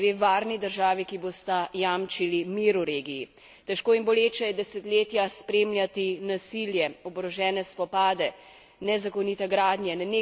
Težko in boleče je desetletja spremljati nasilje, oborožene spopade, nezakonite gradnje, nenehno kršenje mednarodnega prava in človekovih pravic.